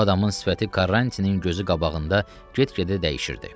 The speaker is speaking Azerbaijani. Bu adamın sifəti Karrantinin gözü qabağında get-gedə dəyişirdi.